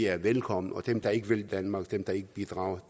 er velkomne og dem der ikke vil danmark dem der ikke bidrager